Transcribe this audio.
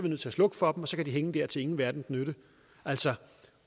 nødt til at slukke for og så kan de hænge der til ingen verdens nytte altså